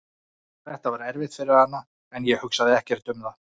Þetta var erfitt fyrir hana en ég hugsaði ekkert um það.